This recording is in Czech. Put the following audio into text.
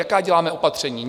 Jaká děláme opatření?